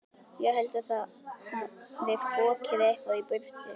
Ég held að það hafi fokið eitthvað í burtu.